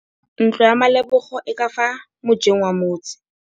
Ntlo ya Malebogo e ka fa mojeng wa motse.